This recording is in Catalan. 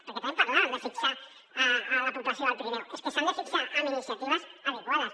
perquè també parlàvem de fixar la població al pirineu és que s’han de fixar amb iniciatives adequades